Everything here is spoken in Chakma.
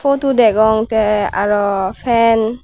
potu degong tey arow pen.